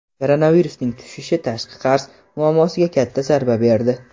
Koronavirusning tushishi tashqi qarz muammosiga katta zarba berdi.